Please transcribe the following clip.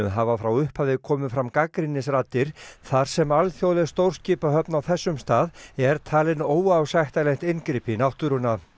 hafa frá upphafi komið fram gagnrýnisraddir þar sem alþjóðleg stórskipahöfn á þessum stað er talin óásættanlegt inngrip í náttúruna